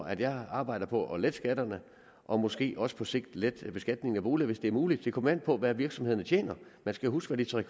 at jeg arbejder på at lette skatterne og måske også på sigt lette beskatningen af boliger hvis det er muligt det kommer an på hvad virksomhederne tjener man skal huske at de tre